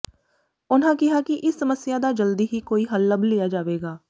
ਉਨ੍ਹਾਂ ਕਿਹਾ ਕਿ ਇਸ ਸਮੱਸਿਆ ਦਾ ਜਲਦੀ ਹੀ ਕੋਈ ਹੱਲ ਲੱਭ ਲਿਆ ਜਾਵੇਗਾ